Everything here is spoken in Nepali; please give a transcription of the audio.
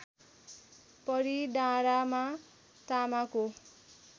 परि डाँडामा तामाको